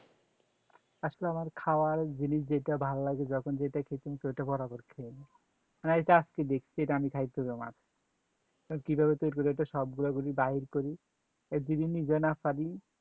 আসলে আমার খাওয়ার জিনিস যেটা ভালো লাগে যখন যেটা খেতে সেটা বরাবর খেয়ে নেই এটা আজকে দেখছি এটা আমি খাইছি আমার কিভাবে করি বলো তো সবগুলো বাইর করি বিভিন্ন জনক করি